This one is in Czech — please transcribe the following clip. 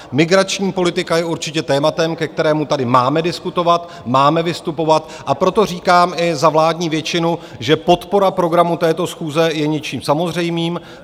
Migrační politika je určitě tématem, ke kterému tady máme diskutovat, máme vystupovat, a proto říkám i za vládní většinu, že podpora programu této schůze je něčím samozřejmým.